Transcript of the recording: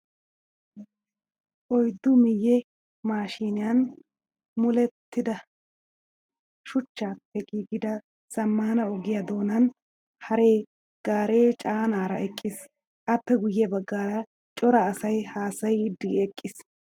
Oyiddu miyyee mashiiniyan molettida shuchchaappe giigida zammaana ogiyaa doonan hare gaaree caanaara eqqis. Appe guyye baggaara cora asayi haasayiiddi eqqis.